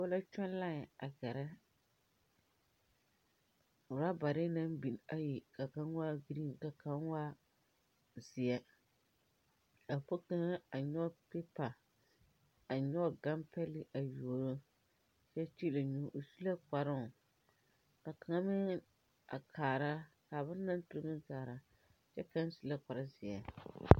Dɔba la kyɔg leɛn a gɛrɛ rɔbare meŋ biŋ ayi ka ka waa giriin ka kaŋ waa boŋ zeɛ a nyɔg piipa a nyɔg ganpɛle a yuoro o su la kparoŋ ka kaŋa meŋ kaarakyɛ kaŋ su l kpare zeɛ.